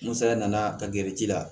N saya nana ka gɛrɛ ji la